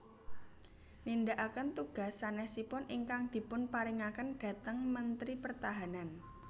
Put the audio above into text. Nindakaken tugas sanésipun ingkang dipunparingaken dhateng Mentri Pertahanan